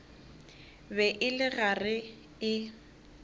be e le gare e